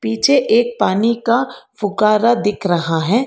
पीछे एक पानी का फुकारा दिख रहा है।